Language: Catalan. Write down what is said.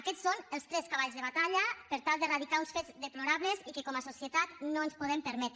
aquests són els tres cavalls de batalla per tal d’eradicar uns fets deplorables i que com a societat no ens podem permetre